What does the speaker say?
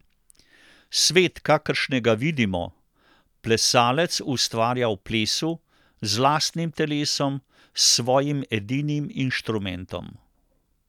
Svet, kakršnega vidimo, plesalec ustvarja v plesu, z lastnim telesom, s svojim edinim instrumentom.